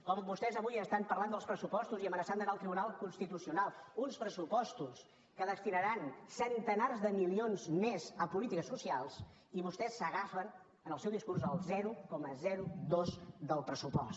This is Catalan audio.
com vostès avui parlen dels pressupostos i amenacen d’anar al tribunal constitucional uns pressupostos que destinaran centenars de milions més a polítiques socials i vostès s’agafen en el seu discurs al zero coma dos del pressupost